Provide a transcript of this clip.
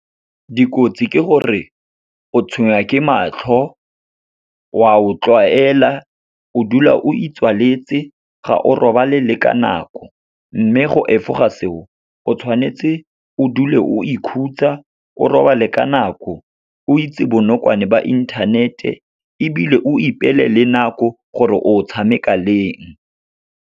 Dikotsi ke gore o tshwenya ke matlho, wa o tlwaela, o dula o itswaletse, ga o robalela ka nako. Mme go efoga seo, o tshwanetse o dule o ikhutsa, o robale ka nako, o itse bonokwane ba inthanete ebile o ipeele le nako gore o tshameka leng.